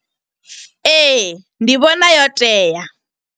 Ee, ndi vhona yo tea.